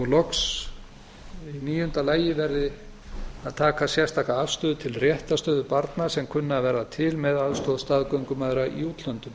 í níunda lagi verði að taka sérstaka afstöðu til réttarstöðu barna sem kunna að verða til með aðstoð staðgöngumæðra í útlöndum